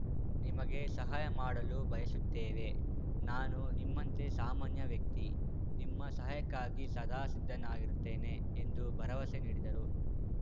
ನಿಮಗೆ ಸಹಾಯ ಮಾಡಲು ಬಯಸುತ್ತೇವೆ ನಾನು ನಿಮ್ಮಂತೆ ಸಾಮಾನ್ಯ ವ್ಯಕ್ತಿ ನಿಮ್ಮ ಸಹಾಯಕ್ಕಾಗಿ ಸದಾ ಸಿದ್ಧನಾಗಿರುತ್ತೇನೆ ಎಂದು ಭರವಸೆ ನೀಡಿದರು